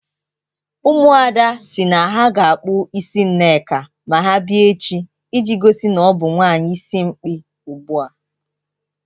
Ụmụada si na ha ga-akpọ isi Nneka ma ha bịa echi iji gosi na ọ bụ nwaanyị isimkpi ugbu a.